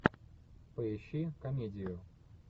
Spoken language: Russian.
поищи комедию